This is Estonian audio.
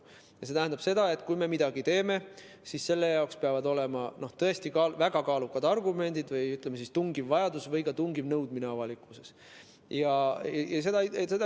See tähendab, et kui me midagi teeme, siis peavad olema tõesti väga kaalukad argumendid või tungiv vajadus või tungiv avalikkuse nõudmine.